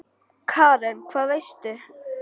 Karen: Hvað veistu?